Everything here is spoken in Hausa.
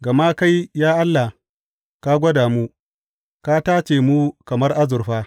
Gama kai, ya Allah, ka gwada mu; ka tace mu kamar azurfa.